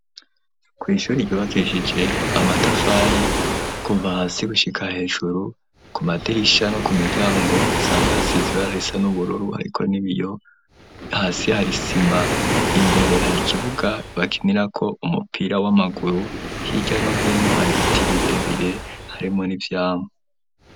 Kw'ishure ryubakishije amatafari kuva hasi gushika hejuru ku madirisha no ku miryango hasanzwe hasize ibara risa n'ububuru hariko n'ibiyo, hasi hari sima imbere hari kibuga bakinirako umupira w'amaguru hirya no hino hari biti birebire harimo n'ivyamwa.